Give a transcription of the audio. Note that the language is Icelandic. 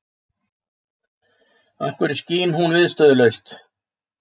Af hverju skín hún viðstöðulaust?